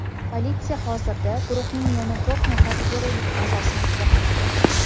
Politsiya hozirda guruhning yana to‘rt nafar perulik a’zosini qidirmoqda.